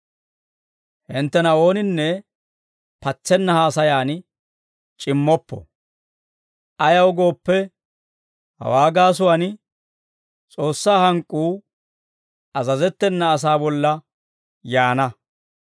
Hinttena ooninne patsenna haasayan c'immoppo; ayaw gooppe, hawaa gaasuwaan S'oossaa hank'k'uu azazettena asaa bolla yaana.